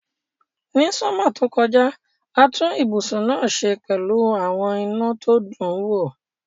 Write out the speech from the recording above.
Ni summer tó kojá, a tun ibùsùn náà se pẹ́lu àwon iná to dun wo